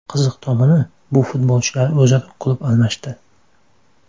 Qiziq tomoni, bu futbolchilar o‘zaro klub almashdi.